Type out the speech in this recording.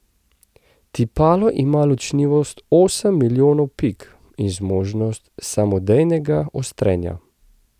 Tipalo ima ločljivost osem milijonov pik in zmožnost samodejnega ostrenja.